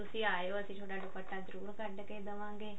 ਤੁਸੀਂ ਆਇਓ ਅਸੀਂ ਥੋਡਾ ਦੁਪੱਟਾ ਜਰੁਰ ਕੱਢ ਕੇ ਦਵਾਂਗੇ